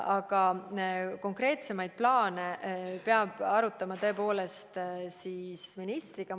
Aga konkreetsemaid plaane peab arutama tõepoolest ministriga.